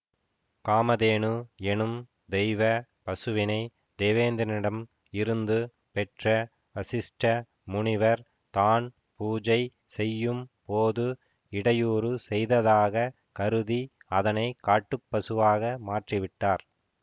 காமதேனு எனும் தெய்வ பசுவினை தேவேந்திரனிடம் இருந்து பெற்ற வசிஷ்ட முனிவர் தான் பூஜை செய்யும் போது இடையூறு செய்ததாக கருதி அதனை காட்டுப்பசுவாக மாற்றிவிட்டார்